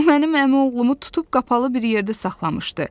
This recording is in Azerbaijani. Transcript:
O mənim əmioğlumu tutub qapalı bir yerdə saxlamışdı.